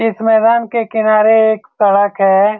इस मैदान के किनारे एक सड़क है।